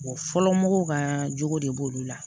Wa fɔlɔ mɔgɔw ka jogo de b'olu la